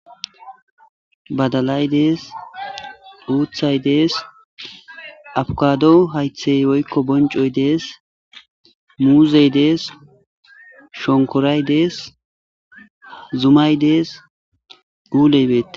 Badalaydees uuthay dees abkado haythey woykko boncoy dees muuzey dees shonkoray dees zumaydees guuleybeet